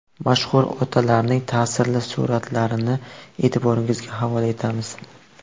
Mashhur otalarning ta’sirli suratlarini e’tiboringizga havola etamiz.